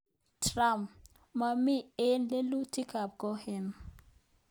Trump; Mamii eng lelutik ab Cohen